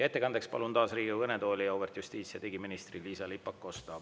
Ettekandeks palun taas Riigikogu kõnetooli auväärt justiits- ja digiministri Liisa-Ly Pakosta.